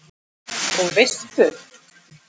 Og veistu.